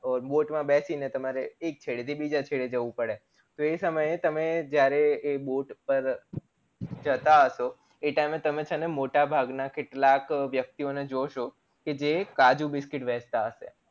Boat માં બેસી ને તમે એક છેડે થી બીજે છેડે જવું પડે તો એ સમયે જયારે એ boat પર જતા હસો એ time એ તમે મોટા ભાગના કેટલાક વ્યક્તિ ઓને જોશો કે જે કાજુ biscuit વેંચતા હયસે